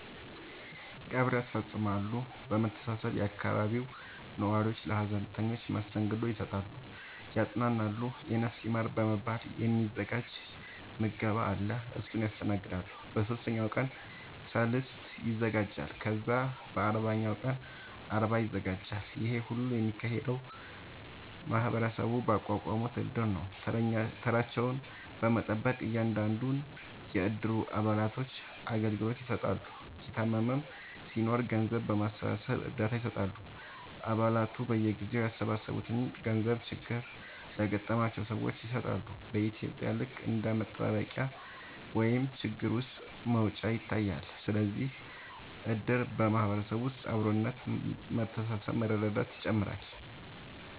ቀብር ያስፈፅማሉ በመሰባሰብ የአካባቢው ነዋሪዎች ለሀዘንተኞች መስተንግዶ ይሰጣሉ ያፅናናሉ የነፍስ ይማር በመባል የ ሚዘጋጅ ምገባ አለ እሱን ያስተናግዳሉ በ ሶስተኛው ቀን ሰልስት ይዘጋጃል ከዛ በ አርባኛው ቀን አርባ ይዘጋጃል ይሄ ሁሉ የሚካሄደው ማህበረሰቡ ባቋቋሙት እድር ነው ተራቸውን በመጠበቅ እያንዳንዱን የ እድሩ አባላቶች አገልግሎት ይሰጣሉ የታመመም ሲናኖር ገንዘብ በማሰባሰብ እርዳታ ይሰጣሉ አ ባላቱ በየጊዜው ያሰባሰቡትን ገንዘብ ችግር ለገጠማቸው ሰዎች ይሰጣሉ በ ኢትዩጵያ ልክ እንደ መጠባበቂያ ወይም ችግር ውስጥ መውጫ ይታያል ስለዚህም እድር በ ማህበረሰብ ውስጥ አብሮነት መተሳሰብ መረዳዳትን ይጨምራል